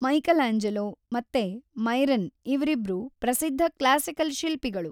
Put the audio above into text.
Michelangelo ಮತ್ತೆ Myron ಇ‌ವ್ರಿಬ್ರೂ ಪ್ರಸಿದ್ಧ ಕ್ಲಾಸಿಕಲ್ ಶಿಲ್ಪಿಗಳು.